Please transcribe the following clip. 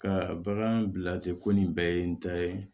Ka bagan bila ten ko nin bɛɛ ye n ta ye